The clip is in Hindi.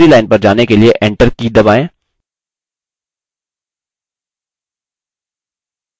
जब आप line के अंत में पहुँचते हैं दूसरी line पर जाने के लिए enter की दबाएँ